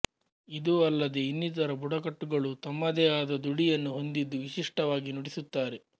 ಇದೂ ಅಲ್ಲದೆ ಇನ್ನಿತರ ಬುಡಕಟ್ಟುಗಳೂ ತಮ್ಮದೇ ಆದ ದುಡಿಯನ್ನು ಹೊಂದಿದ್ದು ವಿಶಿಷ್ಟವಾಗಿ ನುಡಿಸುತ್ತಾರೆ